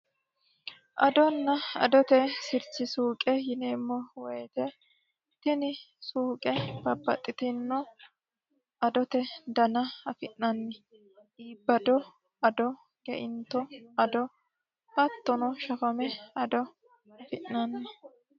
adonna adote sirchi suuqe yineemmo woyite suuqe babbaxitino adote suuqe dana afi'nanni iibado ado geinto ado hattono shafame ado afi'nanni